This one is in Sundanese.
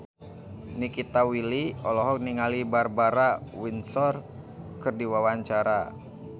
Nikita Willy olohok ningali Barbara Windsor keur diwawancara